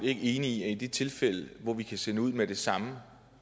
ikke enig i at i de tilfælde hvor vi kan sende familien ud med det samme